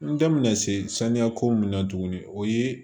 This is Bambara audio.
N da mɛna se saniya ko min na tuguni o ye